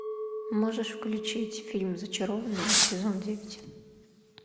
можешь включить фильм зачарованные сезон девять